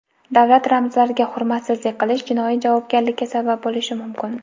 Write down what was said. Davlat ramzlariga hurmatsizlik qilish jinoiy javobgarlikka sabab bo‘lishi mumkin.